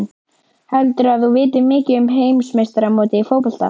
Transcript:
Heldurðu að þú vitir mikið um heimsmeistaramótið í fótbolta?